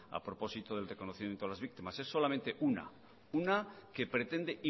a propósito del reconocimiento de las víctimas es solamente una una que pretende